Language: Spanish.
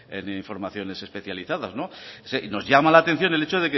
en informaciones especializadas y nos llama la atención el hecho